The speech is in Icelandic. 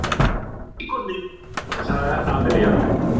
Pant vera íkorni, sagði Amalía.